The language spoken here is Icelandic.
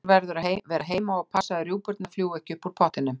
Einhver verður að vera heima og passa að rjúpurnar fljúgi ekki upp úr pottinum